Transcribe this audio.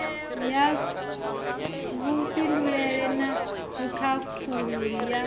ya vhufhinduleli na vhukhakhululi ya